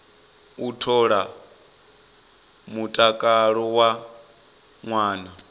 u ṱola mutakalo wa ṅwana